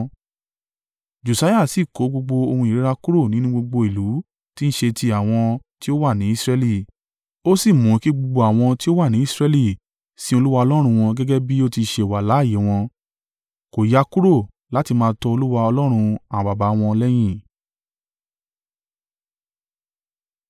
Josiah sì kó gbogbo ohun ìríra kúrò nínú gbogbo ìlú tí ń ṣe ti àwọn tí ó wà ní Israẹli, ó sì mú kí gbogbo àwọn tí ó wà ní Israẹli sin Olúwa Ọlọ́run wọn gẹ́gẹ́ bí ó ti ṣe wà láyè wọn, kò yà kúrò láti máa tọ Olúwa Ọlọ́run àwọn baba wọn lẹ́yìn.